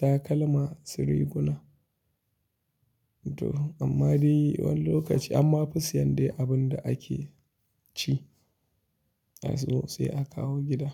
takalma, su riguna to amma dai wani lokaci amma fi sayen abin da ake ci, sai a kawo gida.